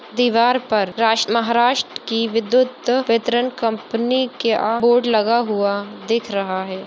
दिवार पर राष्ट्र महाराष्ट्र की विद्युत वितरण कंपनी का बोर्ड लगा हुआ दिख रहा हैं।